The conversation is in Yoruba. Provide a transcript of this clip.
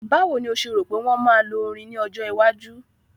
Báwo ni o ṣe rò pé wọ́n máa lo orin ní ọjọ́ iwájú?